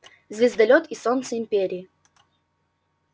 звездолёт и солнце империи